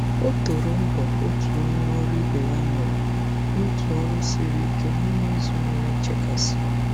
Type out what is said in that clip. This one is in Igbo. O toro mbọ otu onye ọrụ ibe ya mere n'otu ọrụ siri ike n'ime izu nwere nchekasị.